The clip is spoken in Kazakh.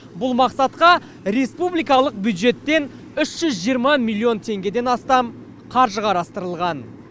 бұл мақсатқа республикалық бюджеттен үш жүз жиырма миллион теңгеден астам қаржы қарастырылған